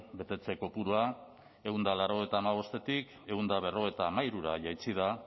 betetze kopurua ehun eta laurogeita hamabostetik ehun eta berrogeita hamairura jaitsi da